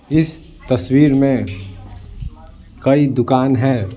इस तस्वीर में कई दुकान हैं।